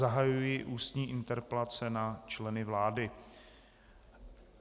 Zahajuji ústní interpelace na členy vlády.